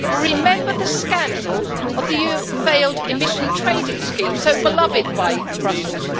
Remember the scandal of the failed emission trading scheme so beloved by Brussels?